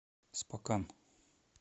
спокан